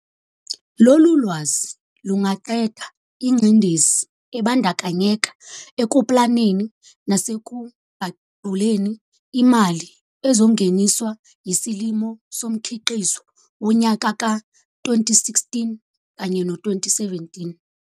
Lolu lwazi lungaqeda ingcindezi ebandakanyeka ekuplaneni nasekuqaguleni imali ezongeniswa yisilimo somkhiqizo wonyaka ka-2016 - 2017.